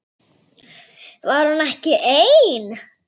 Var hún ekki ein?